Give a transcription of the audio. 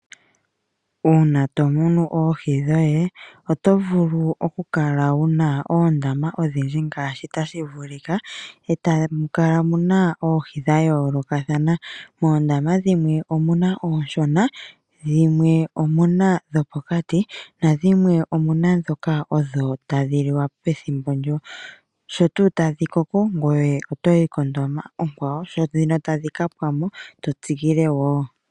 Uuna to munu oohi dhoye oto vulu oku kala wuna oondama odhindji ngaashi tashi vulika etamu kala muna oohi dhimwe omuna oohi dha yoolokothana moondama dhimwe omuna oohi ooshona , dhimwe omuna dhopokati nadhinwe omuna ndhoka odho tadhi liwa pethimbo ndyo. Sho tadhi koko gweye otoyi kondama onkwawo sho tadhi kapwamo ngoye to tsikile wo.